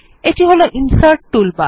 এটি হল insert toolbar